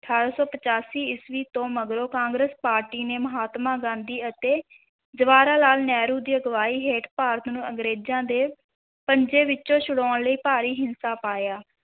ਅਠਾਰਾਂ ਸੌ ਪਚਾਸੀ ਈਸਵੀ ਤੋਂ ਮਗਰੋਂ ਕਾਂਗਰਸ ਪਾਰਟੀ ਨੇ ਮਹਾਤਮਾ ਗਾਂਧੀ ਅਤੇ ਜਵਾਹਰ ਲਾਲ ਨਹਿਰੂ ਦੀ ਅਗਵਾਈ ਹੇਠ ਭਾਰਤ ਨੂੰ ਅੰਗਰੇਜ਼ਾਂ ਦੇ ਪੰਜੇ ਵਿਚੋਂ ਛੁਡਾਉਣ ਲਈ ਭਾਰੀ ਹਿੱਸਾ ਪਾਇਆ।